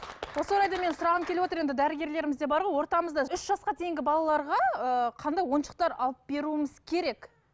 осы орайда менің сұрағым келіп отыр енді дәрігерлеріміз де бар ғой ортамызда үш жасқа дейінгі балаларға ыыы қандай ойыншықтар алып беруіміз керек